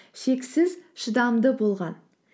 шексіз шыдамды болған